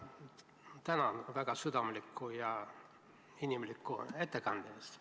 Tänan väga südamliku ja inimliku ettekande eest!